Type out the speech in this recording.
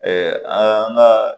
an ka